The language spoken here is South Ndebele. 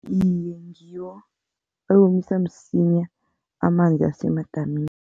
Iye, ngiwo ewomisa msinya amanzi asemadamini.